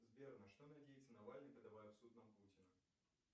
сбер на что надеется навальный подавая в суд на путина